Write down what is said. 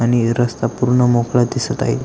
आणि रस्ता पूर्ण मोकळा दिसत आहे.